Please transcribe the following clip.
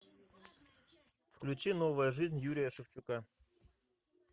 включи новая жизнь юрия шевчука